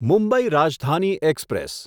Mumbai Rajdhani express